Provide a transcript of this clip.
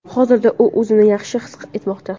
Hozirda u o‘zini yaxshi his etmoqda.